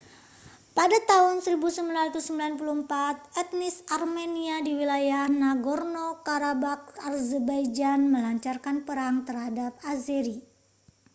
pada tahun 1994 etnis armenia di wilayah nagorno-karabakh azerbaijan melancarkan perang terhadap azeri